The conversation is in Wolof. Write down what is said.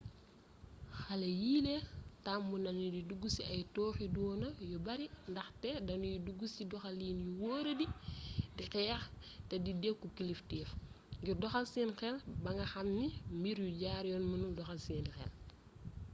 xale yiile tàmm nañu di dugg ci ay tooxiduuna yu bare ndaxte danuy dugg ci doxalin yu wóoradi di xeex te di dëkku kilifteef ngir doxal seen xel ba nga xamee ni mbir yu jaar yoon mënul doxal seeni xel